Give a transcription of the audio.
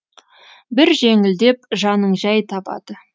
бір жеңілдеп жаның жәй табады